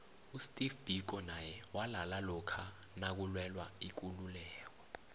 usteve biko naye walala lokha nakulwela ikuluieko